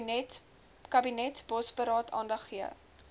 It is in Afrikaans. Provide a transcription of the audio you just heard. kabinetsbosberaad aandag gegee